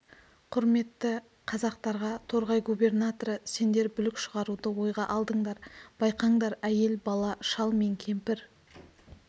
құрметті қазақтарға торғай губернаторы сендер бүлік шығаруды ойға алдыңдар байқаңдар әйел бала шал мен кемпір